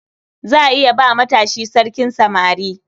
Za a iya ba matashi sarkin samari.